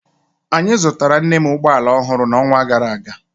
Anyị zụtara nna m ụgbọ ala ọhụrụ n'ọnwa gara aga